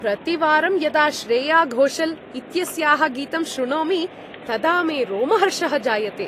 प्रतिवारं यदा श्रेया घोषाल् इत्यस्याः गीतं श्रुणोमि तदा मे रोमहर्षः जायते।